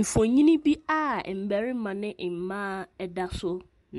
Mfonini bi a mbarima ne mmaa da so,